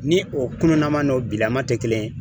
Ni o kununnama n'o bilama tɛ kelen ye